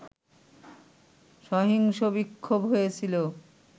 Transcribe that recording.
সহিংস বিক্ষোভ হয়েছিল